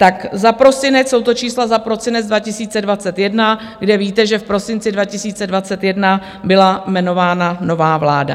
Tak za prosinec, jsou to čísla za prosinec 2021, kde víte, že v prosinci 2021 byla jmenována nová vláda.